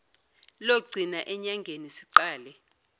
logcina enyangeni siqale